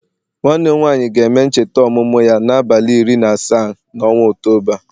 Nwanne m nwanyị ga-eme ncheta ọmụmụ ya n'abalị iri na asaa n'ọnwa Ọktoba